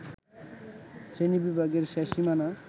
শ্রেণীবিভাগের শেষ সীমানা